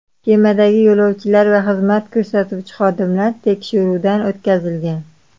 Kemadagi yo‘lovchilar va xizmat ko‘rsatuvchi xodimlar tekshiruvdan o‘tkazilgan.